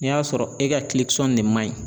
N'i y'a sɔrɔ e ka ne man ɲi